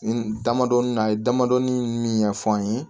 N damadɔnin na a ye damadɔɔni min ɲɛfɔ an ye